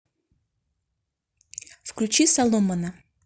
включи соломона